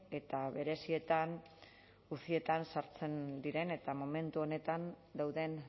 eta berezietan ucietan sartzen diren eta momentu honetan dauden